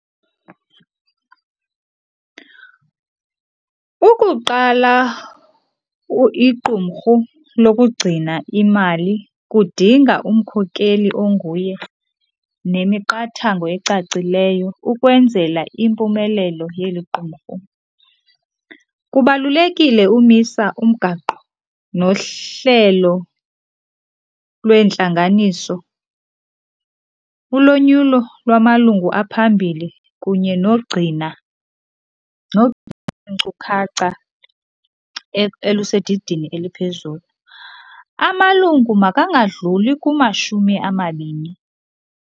Ukuqala iqumrhu lokugcina imali kudinga umkhokeli onguye nemiqathango ecacileyo ukwenzela impumelelo yeli qumrhu. Kubalulekile umisa umgaqo nohlelo lweentlanganiso, ulonyulo lwamalungu aphambili kunye nogcina iinkcukacha elusedidini eliphezulu. Amalungu makangadluli kumashumi amabini.